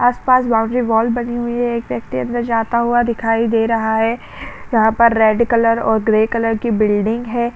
आस पास boundary wall बनी हुई है एक व्यक्ति अंदर जाता हुआ दिखाई दे रहा है यहाँ पर रेड कलर और ग्रे कलर की बिल्डिंग है।